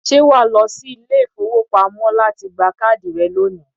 ṣé wà á sì lọ sí ilé-ìfowópamọ́ láti gba káàdì rẹ̀ lónìí?